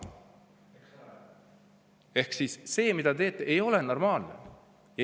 Ehk siis see, mida te teete, ei ole normaalne.